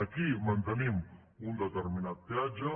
aquí mantenim un determinat peatge